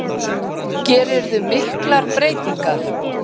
Gerirðu miklar breytingar?